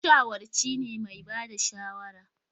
Mashawarci ne mai ba da shawara